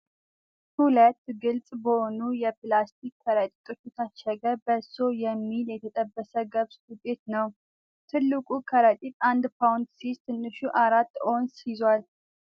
ሁለት ግልጽ በሆኑ የፕላስቲክ ከረጢቶች የታሸገ "በሶ" የሚል የተጠበሰ ገብስ ዱቄት ነው። ትልቁ ከረጢት አንድ ፓውንድ ሲይዝ፣ ትንሹ አራት ኦውንስ ይይዛል።